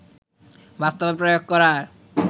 বাস্তবে প্রয়োগ করার